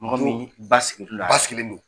Mɔgɔ min basigi l'u la. Sigilen don.